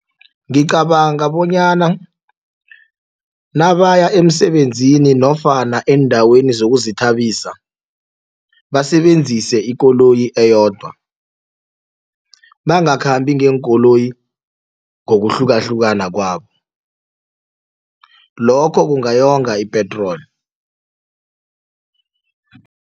Ngicabanga bonyana nabaya emsebenzini nofana eendaweni zokuzithabisa basebenzise ikoloyi eyodwa bangakhambi ngeenkoloyi ngokuhlukahlukana kwabo lokho kungayonga ipetroli.